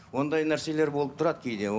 ондай нәрселер болып тұрады кейде